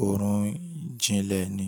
òórùn ìjìnlẹ̀ ni.